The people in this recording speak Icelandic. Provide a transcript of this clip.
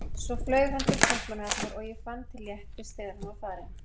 Svo flaug hann til Kaupmannahafnar og ég fann til léttis þegar hann var farinn.